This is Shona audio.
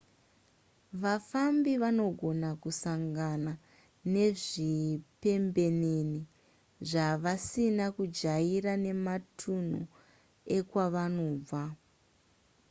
vafambi vanogona kusangana nezvipembenene zvavasina kujaira mumatunhu ekwavanobva